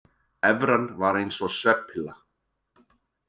Evran var eins og svefnpilla